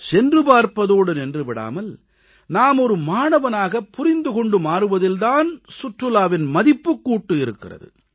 சென்று பார்ப்பதோடு நின்று விடாமல் நாம் மாணவனாக புரிந்து கொண்டு மாறுவதில் தான் சுற்றுலாவின் மதிப்புக்கூட்டு இருக்கிறது